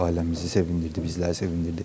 Ailəmizi sevindirdi, bizləri sevindirdi.